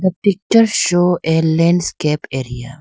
picture show a landscape area.